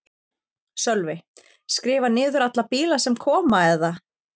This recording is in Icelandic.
Sölvi: Skrifa niður alla bíla sem koma eða?